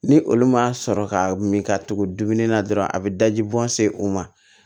Ni olu ma sɔrɔ ka min ka tugu dumuni na dɔrɔn a bi daji bɔ se o ma